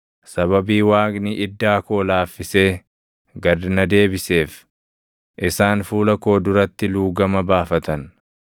Sababii Waaqni iddaa koo laafisee gad na deebiseef, isaan fuula koo duratti luugama baafatan.